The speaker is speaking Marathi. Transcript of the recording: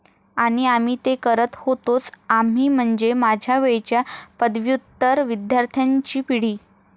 आणि आम्ही ते करत होतोच. आम्ही, म्हणजे माझ्या वेळच्या पदव्युत्तर विद्यार्थ्यांची पिढी.